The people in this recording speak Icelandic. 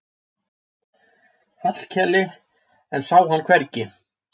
Hallkeli en sá hann hvergi.